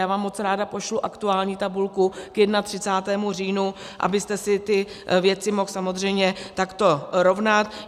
Já vám moc ráda pošlu aktuální tabulku k 31. říjnu, abyste si ty věci mohl samozřejmě takto rovnat.